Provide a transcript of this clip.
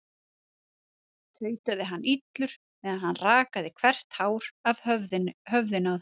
tautaði hann illur meðan hann rakaði hvert hár af höfðinu á þeim.